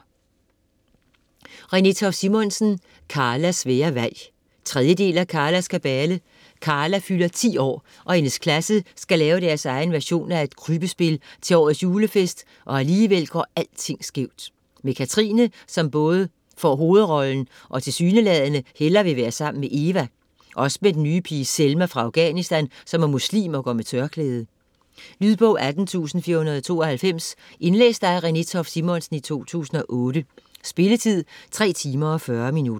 Toft Simonsen, Renée: Karlas svære valg 3. del af Karlas kabale. Karla fylder 10 år og hendes klasse skal lave deres egen version af et krybbespil til årets julefest, og alligevel går alting skævt. Med Katrine som både får hovedrollen og tilsyneladende hellere vil være sammen med Eva, og også med den nye pige Selma fra Afghanistan som er muslim og går med tørklæde. Lydbog 18492 Indlæst af Renée Toft Simonsen, 2008. Spilletid: 3 timer, 40 minutter.